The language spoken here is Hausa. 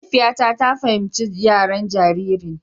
Mahaifiyata ta fahimci yaren jaririn.